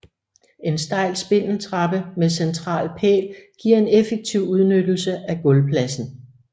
En stejl spindeltrappe med central pæl giver en effektiv udnyttelse af gulvpladsen